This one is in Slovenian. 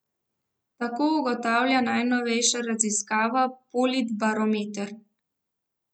Tako ugotavlja najnovejša raziskava Politbarometer.